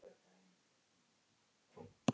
Því hún reyndi að sannfæra mig.